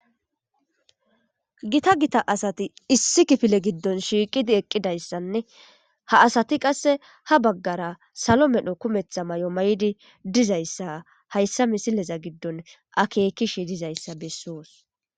Gita gita asati issi kifile giddon shiiqidi eqqidayssanne ha asati qasse ha baggara salo medho kumeththa may7o may7di dizayssa hayssa misileza giddon akekishi dizayssa bessoos.